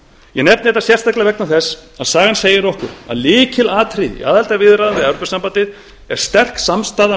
ég nefni þetta sérstaklega vegna þess að sagan segir okkur að lykilatriðið í aðildarviðræðum við e s b sé sterk samstaða